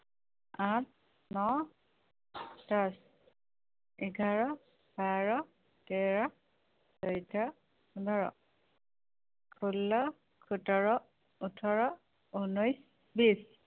আঠ ন দচ এঘাৰ বাৰ তেৰ চৈধ্য় পোন্ধৰ ষোল্ল সোতৰ ওঠৰ উনৈশ বিশ